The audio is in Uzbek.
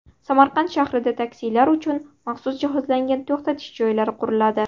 Samarqand shahrida taksilar uchun maxsus jihozlangan to‘xtash joylari quriladi.